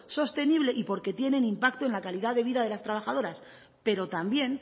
sostenible y porque tienen impacto en la calidad de vida de las trabajadoras pero también